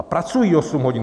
A pracují 8 hodin.